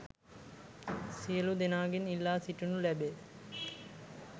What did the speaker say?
සියලු දෙනාගෙන් ඉල්ලා සිටිනු ලැබේ